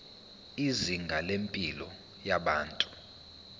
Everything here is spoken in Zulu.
izinga lempilo yabantu